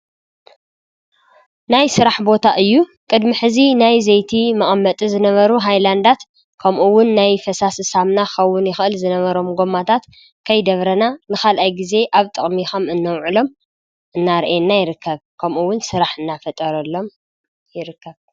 ናይ ሥራሕ ቦታ እዩ ቅድሚ ሕዚ ናይ ዜይቲ መኣመጢ ዝነበሩ ኃይላንዳት ከምኡውን ናይ ፈሳስ ሳምና ኸውን ይኽእል ዝነበሮም ጐማታት ከይደብረና ንኻልኣይ ጊዜ ኣብ ጥቕሚኸም እኖውዕሎም እናርኤና ይርከብ ከምኡውን ሥራሕ እና ፈጠረሎም ይርከብ።